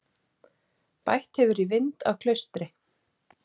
Bætt hefur í vind á Klaustri